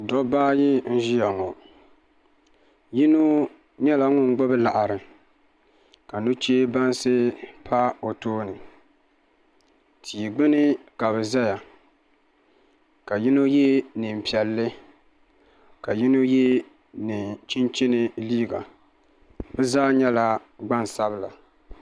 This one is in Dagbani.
doba ayi na ʒɛya ŋɔ yino nyɛla ŋɔ n gbabi laɣiri ka nuchibansi pa o tuuni tɛi gbani ka be zaya ka yino yɛ nɛi n piɛli ka yino yɛ nɛ chichini liga be zaa nyɛla gbansabila